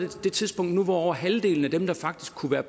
det tidspunkt nu hvor halvdelen af dem der faktisk kunne være